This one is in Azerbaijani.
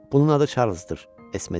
Bunun adı Çarlsdır, Esme dedi.